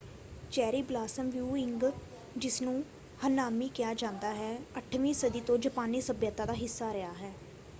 Cherry blossom viewing ਜਿਸਨੂੰ ਹਨਾਮੀ ਕਿਹਾ ਜਾਂਦਾ ਹੈ 8ਵੀਂ ਸਦੀ ਤੋਂ ਜਾਪਾਨੀ ਸੱਭਿਅਤਾ ਦਾ ਹਿੱਸਾ ਰਿਹਾ ਹੈ।